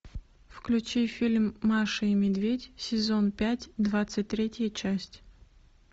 включи фильм маша и медведь сезон пять двадцать третья часть